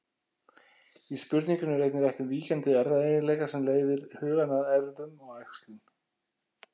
Í spurningunni er einnig rætt um víkjandi erfðaeiginleika sem leiðir hugann að erfðum og æxlun.